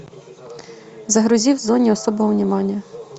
загрузи в зоне особого внимания